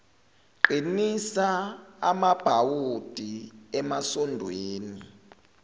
qinisa amabhawodi emasondweni